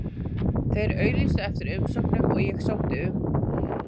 Þeir auglýstu eftir umsóknum og ég sótti um.